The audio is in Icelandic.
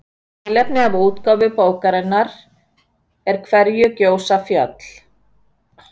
í tilefni af útgáfu bókarinnar af hverju gjósa fjöll